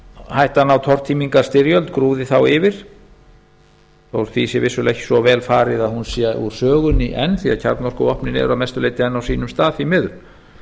hættan á tortímingarstyrjöld grúfði þá yfir þótt því sé vissulega ekki svo vel farið að hún sé úr sögunni enn því að kjarnorkuvopnin eru að mestu leyti enn á sínum stað því miður